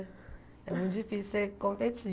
É muito difícil você competir.